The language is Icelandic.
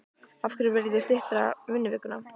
Af hverju viljið þið stytta vinnuvikuna?